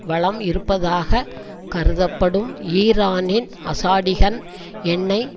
வளம் இருப்பதாக கருத்தப்படும் ஈரானின் அசாடிகன் எண்ணெய்